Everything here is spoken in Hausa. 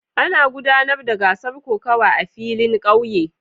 Ana gudanar da gasar kokawa a filin kauye